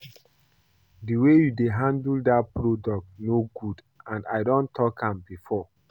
The way you dey handle dat product no good and I don talk am before